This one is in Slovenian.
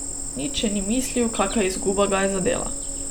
Nič še ni mislil, kaka izguba ga je zadela.